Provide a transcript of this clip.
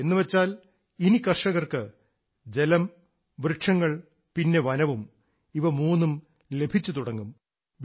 എന്നുവെച്ചാൽ ഇനി കർഷകർക്ക് ജലം വൃക്ഷങ്ങൾ പിന്നെ വനവും ഇവ മൂന്നും ലഭിച്ചുതുടങ്ങും